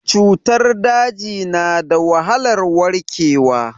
Cutar daji na da wahalar warkewa.